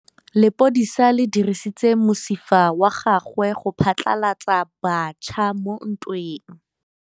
Lepodisa le dirisitse mosifa wa gagwe go phatlalatsa batšha mo ntweng.